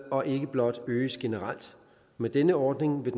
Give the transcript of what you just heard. og ikke blot øges generelt med denne ordning vil